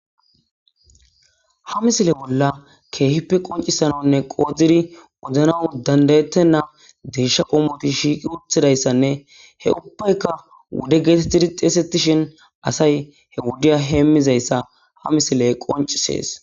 Ha misile bollan keehippe concisanawune qodid odanaw danda'etena deysha qomot shiqi utidaysane he ubbayka wude getetid xeysetishn asay he wudya hemizaysa ha misiley qoncises.